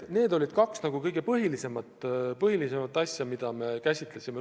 Need olid kaks kõige põhilisemat asja, mida me käsitlesime.